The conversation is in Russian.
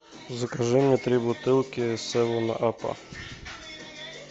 закажи мне три бутылки севен апа